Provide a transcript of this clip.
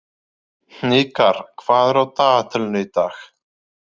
Hnikar, hvað er á dagatalinu í dag?